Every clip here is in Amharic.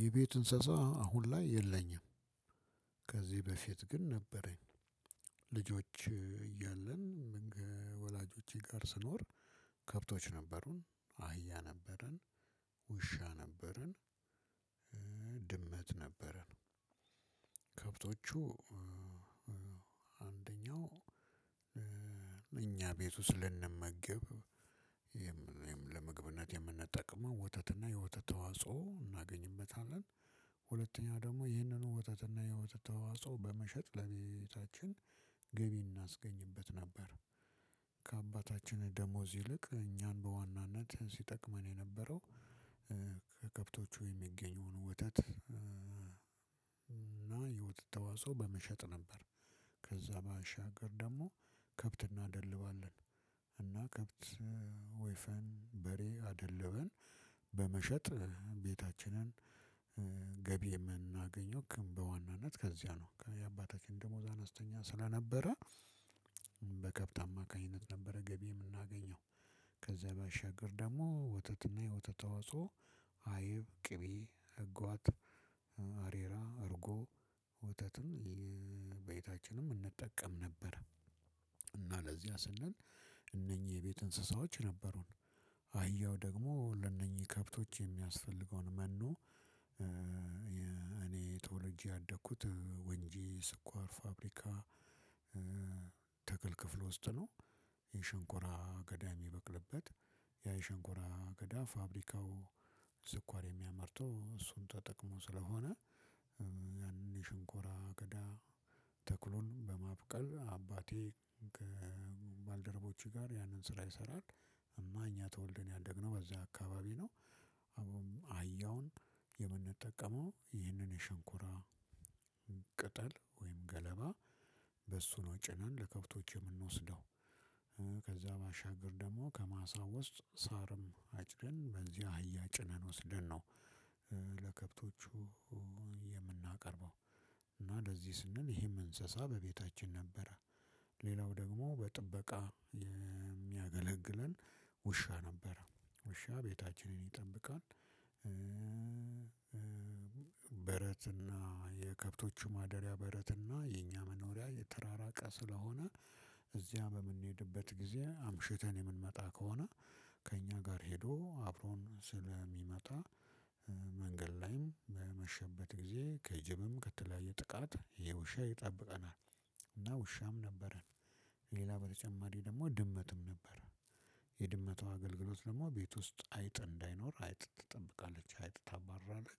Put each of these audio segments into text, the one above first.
የቤት እንስሳ አሁን ላይ የለኝም። ከዚህ በፊት ግን ነበረኝ። ልጆች እያለን ወላጆቼ ጋር ስኖር። ከብቶች ነበሩን አህያ ነበረን። ውሻ ነበረን። ድመት ነበረን። ከብቶቹ አንደኛው እኛ ቤት ውስጥ ስንመገብ ለምግብነት የምንጠቀመው ወተትና የወተት ተዋጽኦ እናገኝበታለን። ሁለተኛ ደግሞ ይህንኑ ወተትና የወተት ተዋጾ በመሸጥ ለቤታችን ገቢ እናስገኝበት ነበር። ከአባታችን ደሞዝ ይልቅ እኛን በዋናነት ሲጠቅመን የነበረው ከከብቶቹ የሚገኘውን ወተት እና የወተት ተዋፆ በመሸጥ ነበር። ከዛ ባሻገር ደግሞ ከብት እናደልባለን። እና ከብት ወይፈን በሬ አደልበን። በመሸጥ ቤታችንን ገቢ የምናገኘው ግን በዋናነት ከዚያ ነው። የአባታችን ደሞዝ አነስተኛ ስለነበረ። በከብት አማካኝነት ነበረ ገቢ የምናገኘው። ከዛ በሻገር ደግሞ ወተትና የወተት ተዋጽኦ አይብ ቅቤ አጓት አሬራ እርጎ ወተትን ቤታችንም እንጠቀም ነበር። እና ለዚያ ስንል እነኚህ የቤት እንስሳዎች ነበሩን። አህያው ደግሞ ለእነኚህ ከብቶች የሚያስፈልገውን መኖ እኔ ተወልጄ ያደኩት ወንጂ ስኳር ፋብሪካ ትክል ክፍል ውስጥ ነው። የሸንኮራ አገዳ የሚበቅልበት ያ የሸንኮራ አገዳ ፋብሪካው ስኳር የሚያመርተው እሱን ተጠቅሞ ስለሆነ ያንን የሸንኮራ አገዳ ተክሎም በማብቀል አባቴ ከ ባልደረቦች ጋር ያንን ስራ ይሰራል። እና እኛ ተወልደን ያደግነው በዛ አካባቢ ነው። አህያውን የምንጠቀመው ይህንን የሸንኮራ ቅጠል ወይም ገለባ በሱ ነው ጭነን ለከብቶች የምንወስደው እ ከዛ ባሻገር ደግሞ ከማሳ ውስጥ ሳርም አጭደን በዚያ አህያ ጭነን ወስደን ነው። ለከብቶቹ የምናቀርበው እና እንደዚህ ስንል ይሄም እንሰሳ በቤታችን ነበረ። ሌላው ደግሞ በጥበቃ የሚያገለግለን ውሻ ነበረ ውሻ ቤታችንን ይጠብቃል። በረትና የከብቶቹ ማደሪያ በረትና የኛ መኖሪያ የተራራቀ ስለሆነ። እዚያ በምንሄድበት ጊዜ አምሽተን የምንመጣ ከሆነ ከእኛ ጋር ሄዶ አብሮን ስለሚመጣ መንገድ ላይም በመሸበት ጊዜ ከጅብም ከተለያየ ጥቃት ይሄ ውሻ ይጠብቀናል። እና ውሻም ነበረን። ሌላ በተጨማሪ ደግሞ ድመትም ነበር። የድመቷ አገልግሎት ደግሞ ቤት ውስጥ አይጥ እንዳይኖር አይጥ ትጠብቃለች አይጥ ታባርራለች።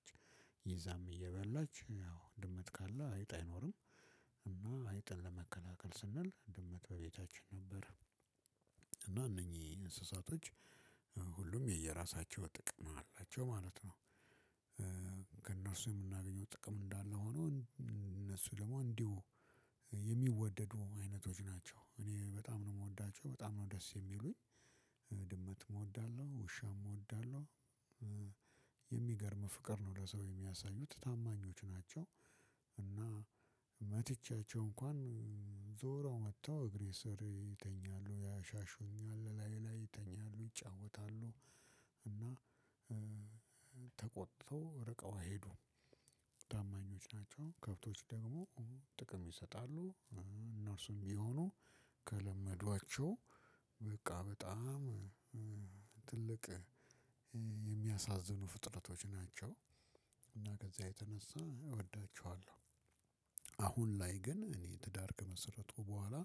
ይዛም እየበላች ያው ድመት ካለ አይጥ አይኖርም። እና አይጥን ለመከላከል ስንል ድመት በቤታችን ነበረ። እና እነኚህ እንስሳቶች ሁሉም የየራሳቸው ጥቅም አላቸው ማለት ነው። ከእነርሱ የምናገኘው ጥቅም እንዳለ ሆኖ እነሱ ደግሞ እንዲሁ የሚወደዱ አይነቶች ናቸው እኔ በጣም ነው የምወዳቸው በጣም ነው ደስ የሚሉኝ። ድመት እወዳለሁ ውሻም እወዳለሁ። የሚገርም ፍቅር ነው ለሰው የሚያሳዩት ታማኞች ናቸው። እና መትቻቸው እንኳን ዞረው መተው እግሬ ስር ይተኛሉ ያሻሹኛል ላዬ ላይ ይተኛሉ ይጫወታሉ። እና ተቆጥተው ርቀው አይሄዱም ታማኞች ናቸው። ከብቶች ደግሞ ጥቅም ይሰጣሉ። እነርሱም የሚሆኑ ከለመዷቸው በቃ በጣም ትልቅ የሚያሳዝኑ ፍጥረቶች ናቸው። እና ከዛ የተነሳ እወዳቸዋለሁ። አሁን ላይ ግን እኔ ትዳር ከመሰረትኩ በኋላ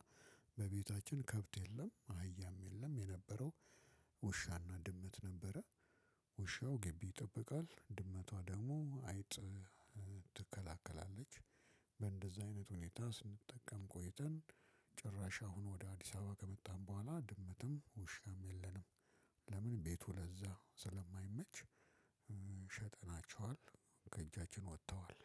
በቤታችን ከብት የለም አህያም የለም የነበረው ውሻና ድመት ነበረ። ውሻው ግቢ ይጠብቃል ድመቷ ደግሞ አይጥ ትከለከላለች። በእንደዚህ አይነት ሁኔታ ስንጠቀም ቆይተን ጭራሽ አሁን ወደ አዲስ አበባ ከመጣን በኋላ ድምጽም ውሻም የለንም። ለምን ቤቱ ለዛ ስለማይመች? ሸጠናቸዋል ከእጃችን ወጥተዋል።